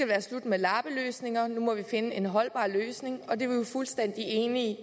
være slut med lappeløsninger nu må man finde en holdbar løsning og det er vi jo fuldstændig enige i